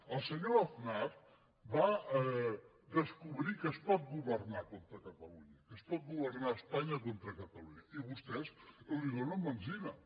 el senyor aznar va descobrir que es pot governar contra catalunya que es pot governar espanya contra catalunya i vostès li donen benzina